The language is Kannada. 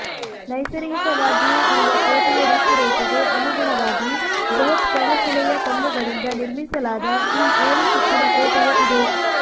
ನೈಸರ್ಗಿಕವಾಗಿಯೇ ಇರುವ ಕೋಟೆಯ ರೂಪುರೇಷೆಗೆ ಅನುಗುಣವಾಗಿ ಬೃಹತ್ ಕಣಶಿಲೆಯ ಕಲ್ಲುಗಳಿಂದ ನಿರ್ಮಿಸಲಾದ ಈ ಏಳು ಸುತ್ತಿನ ಕೋಟೆಯ ಇದೆ